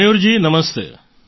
Mayurji Namaste